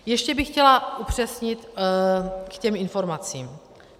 Ještě bych chtěla upřesnit k těm informacím.